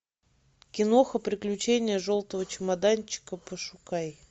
киноха приключения желтого чемоданчика пошукай